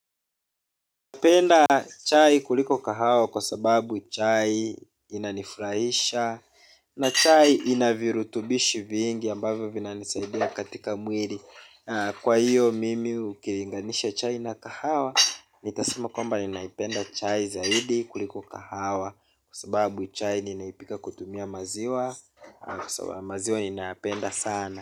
Naipenda chai kuliko kahawa kwa sababu chai inanifurahisha. Na chai ina virutubishi vingi ambavyo vinanisaidia katika mwili. Kwa hiyo mimi ukilinganisha chai na kahawa nitasema kwamba ninaipenda chai zaidi kuliko kahawa. Kwa sababu chai ninaipika kutumia maziwa. Kwa sababu maziwa ninayapenda sana.